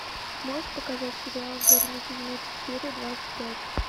можешь показать сериал вернуть из мертвых серия двадцать пять